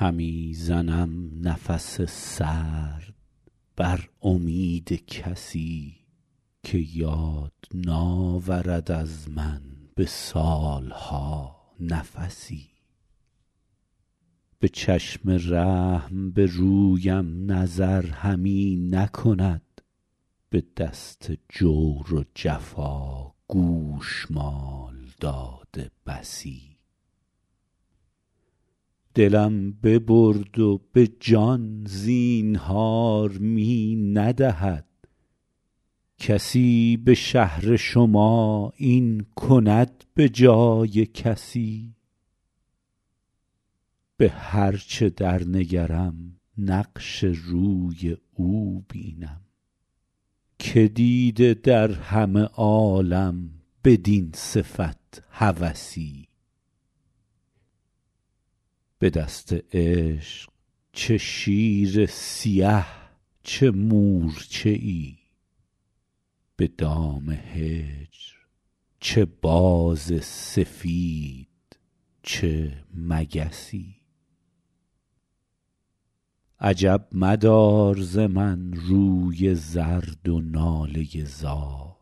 همی زنم نفس سرد بر امید کسی که یاد ناورد از من به سال ها نفسی به چشم رحم به رویم نظر همی نکند به دست جور و جفا گوشمال داده بسی دلم ببرد و به جان زینهار می ندهد کسی به شهر شما این کند به جای کسی به هر چه در نگرم نقش روی او بینم که دیده در همه عالم بدین صفت هوسی به دست عشق چه شیر سیه چه مورچه ای به دام هجر چه باز سفید چه مگسی عجب مدار ز من روی زرد و ناله زار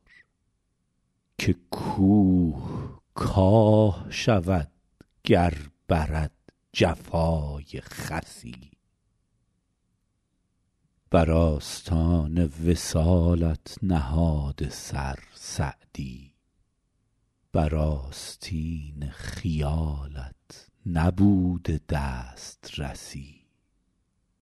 که کوه کاه شود گر برد جفای خسی بر آستان وصالت نهاده سر سعدی بر آستین خیالت نبوده دسترسی